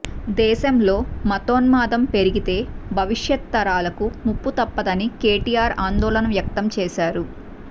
దేశంలో మతోన్మాదం పెరిగితే భవిష్యత్ తరాలకు ముప్పుతప్పదని కేటీఆర్ ఆందోళన వ్యక్తం చేశారు